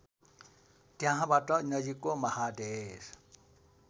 त्यहाँबाट नजिकको महादेश